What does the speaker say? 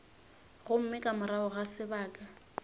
gomme ka morago ga sebaka